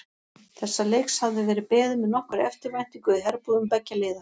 Þessa leiks hafði verið beðið með nokkurri eftirvæntingu í herbúðum beggja liða.